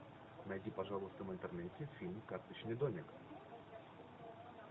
найди пожалуйста в интернете фильм карточный домик